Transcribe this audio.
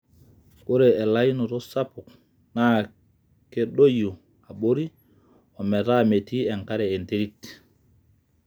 ore elauinoto sapuk naa kedoyio abori ,ometaa metii enkare enterit